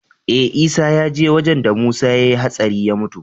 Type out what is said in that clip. Eh isa yaje wajan da musa yayi hatsari ya mutu